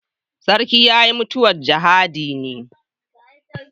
Sarkin ya yi mutuwar jihadi ne.